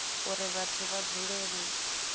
uri vhathu vha dzule vhe